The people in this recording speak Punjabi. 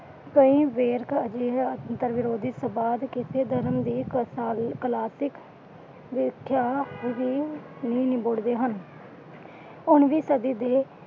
ਉਨਵੀ ਸਦੀ ਦੀ।